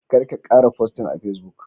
Karka kara posting a Facebook